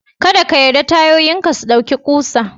Ka ɗa ka yarda tayoyin ka su ɗauki kusa.